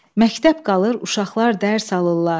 Məktəb qalır, uşaqlar dərs alırlar.